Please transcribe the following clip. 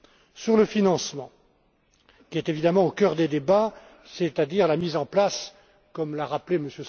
Concernant le financement, qui est évidemment au cœur des débats, c'est à dire la mise en place, comme l'a rappelé M.